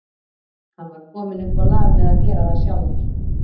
Hann var kominn upp á lag með að gera það sjálfur.